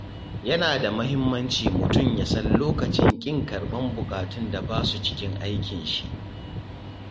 Yana da mahimmanci mutum ya san lokacin ƙin karɓar buƙatun da ba su cikin aikinshi.